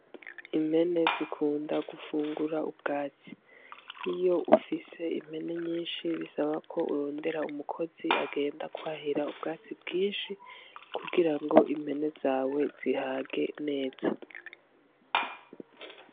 Impene zikunda gufungura ubwatsi. Iyo ufise impene nyinshi bisaba ko urondera umukozi agenda kwahira ubwatsi bwinshi kugira ngo impene zawe zihage neza.